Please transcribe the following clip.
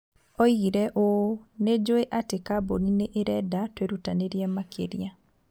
Oigire ũũ, "Nĩ njũĩ atĩ kambuni nĩ ĩrenda twĩrutanĩrie makĩria,